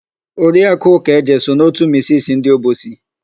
Oriakụ Ụkaeje so na òtù misisi ndị Obosi.